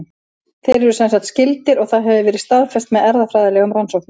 Þeir eru semsagt skyldir og það hefur verið staðfest með erfðafræðilegum rannsóknum.